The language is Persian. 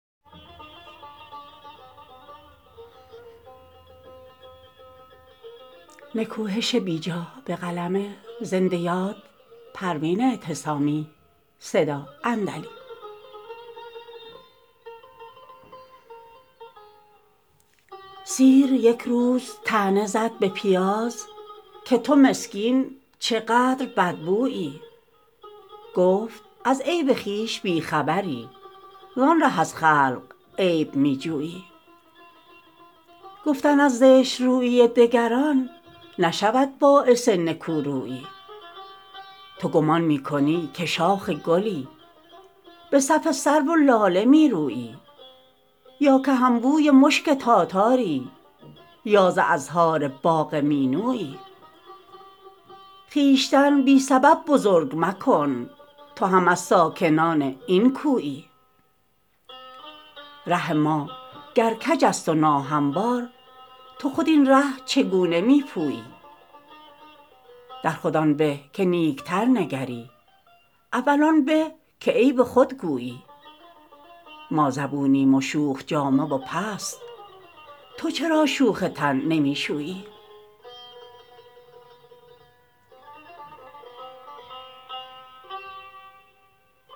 سیر یک روز طعنه زد به پیاز که تو مسکین چقدر بدبویی گفت از عیب خویش بی خبری زان ره از خلق عیب می جویی گفتن از زشترویی دگران نشود باعث نکورویی تو گمان می کنی که شاخ گلی به صف سرو و لاله می رویی یا که همبوی مشک تاتاری یا ز ازهار باغ مینویی خویشتن بی سبب بزرگ مکن تو هم از ساکنان این کویی ره ما گر کج است و ناهموار تو خود این ره چگونه می پویی در خود آن به که نیکتر نگری اول آن به که عیب خود گویی ما زبونیم و شوخ جامه و پست تو چرا شوخ تن نمی شویی